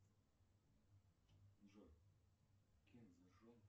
джой